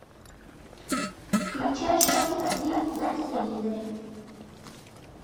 включай шопинг лив на телевизоре